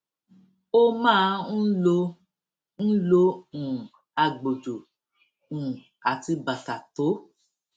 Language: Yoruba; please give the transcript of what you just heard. ó máa ń lo ń lo um agbòjò um àti bàtà tó